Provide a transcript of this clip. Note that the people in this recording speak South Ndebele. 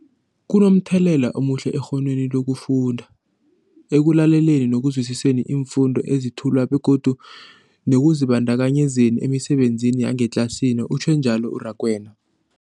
Kunomthelela omuhle ekghonweni lokufunda, ekulaleleni nokuzwisiswa iimfundo ezethulwako begodu nekuzibandakanyeni emisebenzini yangetlasini, utjhwe njalo u-Rakwena.